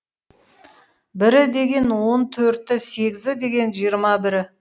бірі деген он төрті сегізі деген жиырма бірі